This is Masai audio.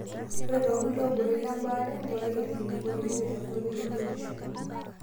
Ore tolkikuai obore lebaare, ngurai olkilikuai oipirta nkoitoi e biotisho.